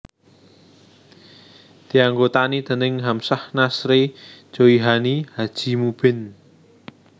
Dianggotani déning Hamzah Nazrey Joihani Haji Mubbin